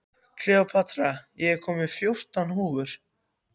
Kleópatra, ég kom með fjórtán húfur!